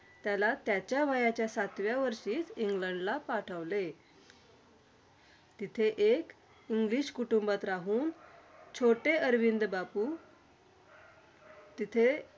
त्याला त्याच्या वयाच्या सातव्या वर्षी इंग्लंडला पाठवले. तिथे एक english कुटुंबात राहून छोटे अरविंद बाबू तिथे